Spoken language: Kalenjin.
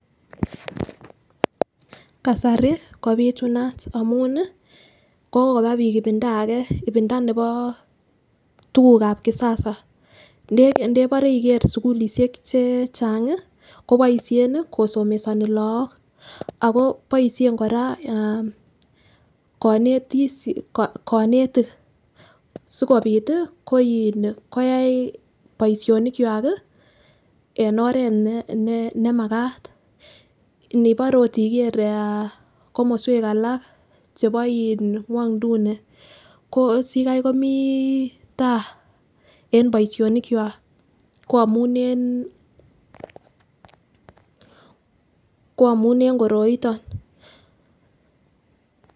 Kasari kopitunat amunii, kokoba bik ipinda ake ipinda neko tukuk ab kisasa ndebore ndebore ikere sukulishek che chechang kii koboishen nii kosomesoni lok ako boishek Koraa aah konetish konetik sikopit tii ko iih koyai boishoni kwak kii en Oret ne nemakat inibore okot iker aah komoswek alak chebo in ngwoiduni ko sikai komii taa en boishonik kwa ko amun en ko amun en koroiton.